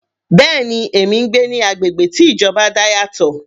Bẹ́ẹ̀ni, èmi ń gbé ní GRA.